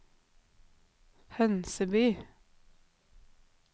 Hønseby